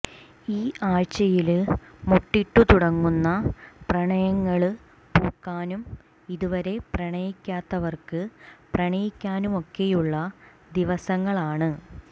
ഈ ആഴ്ച്ചയില് മൊട്ടിട്ടു തുടങ്ങുന്ന പ്രണയങ്ങള് പൂക്കാനും ഇതുവരെ പ്രണയിക്കാത്തവര്ക്ക് പ്രണയിക്കാനുമൊക്കെയുള്ള ദിവസങ്ങളാണ്